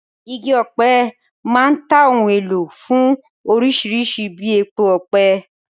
Igi ọ̀pẹ máa ń ta ohun èlò fún orísìírísìí bíi epo ọ̀pẹ.